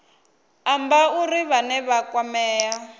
amba uri vhane vha kwamea